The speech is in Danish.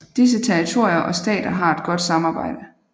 Disse territorier og stater har et godt samarbejde